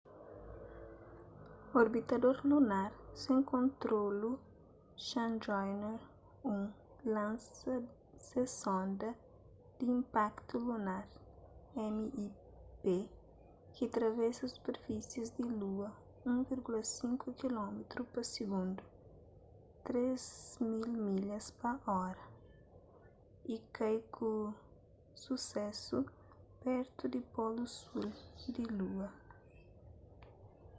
orbitador lunar sen kontrolu chandrayaan-1 lansa se sonda di inpaktu lunar mip ki travesa superfisi di lua 1,5 kilómitru pa sigundu 3.000 milhas pa ora y kai ku susésu pertu di polu sul di lua